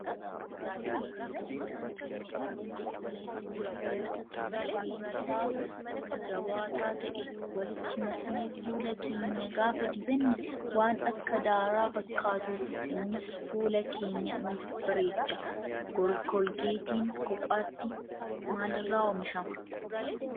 Koolgeetii kan ilkaan keenya ittiin qulqulleessinuu fi dibata kan rifeensaa jabaataa ta'e walitti maknee fuula keenya gaafa dibanne waan akka daaraa fakkaatu. Innis fuula keenya nuuf bareecha. Koolgeetiin kophaatti maalirraa oomishama?